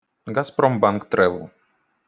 газпромбанк трэвэл